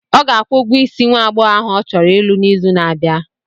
Ọ ga-akwụ ụgwọ isi nwa aghọghọ ahụ ọ chọrọ ịlụ n'izu na-abịa.